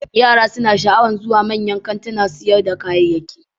Yara suna sha'awar zuwa manyan kantunan sayar da kayayyaki.